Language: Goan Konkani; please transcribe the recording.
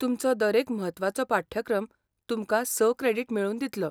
तुमचो दरेक म्हत्वाचो पाठ्यक्रम तुमकां स क्रॅडिट मेळोवन दितलो .